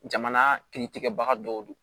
Jamana kiritigɛbaga dɔw do